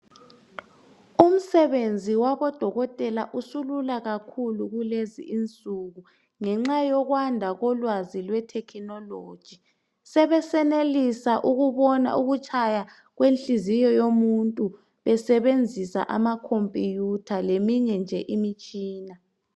Umsebenzi wabodokotela usulula kakhulu kulezinsuku ngenxa yokwanda kolwazi lwe technology. Sebesenelisa ukubona ukutshaya kwenhliziyo yomuntu besebenzisa ama computer leminye nje imitshina